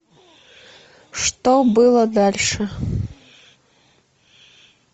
что было дальше